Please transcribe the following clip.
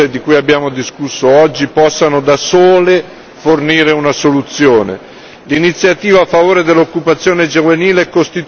Non abbiamo mai preteso che le misure di cui abbiamo discusso oggi possano da sole fornire una soluzione.